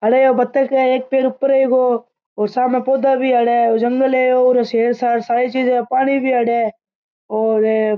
अरे एक बत्तख है एक पैर ऊपर है इको और सामे पौधा भी है अठे ओ जंगल है और शेर शार सारी चीजा है पानी भीं है अठे और --